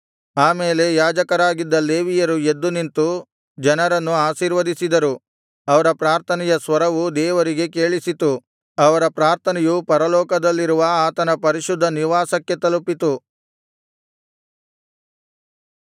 ಆಮೇಲೆ ಯಾಜಕರಾಗಿದ್ದ ಲೇವಿಯರು ಎದ್ದು ನಿಂತು ಜನರನ್ನು ಆಶೀರ್ವದಿಸಿದರು ಅವರ ಪ್ರಾರ್ಥನೆಯ ಸ್ವರವು ದೇವರಿಗೆ ಕೇಳಿಸಿತು ಅವರ ಪ್ರಾರ್ಥನೆಯು ಪರಲೋಕದಲ್ಲಿರುವ ಆತನ ಪರಿಶುದ್ಧ ನಿವಾಸಕ್ಕೆ ತಲುಪಿತು